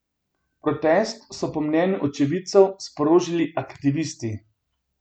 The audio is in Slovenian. Protest so po mnenju očividcev sprožili aktivisti.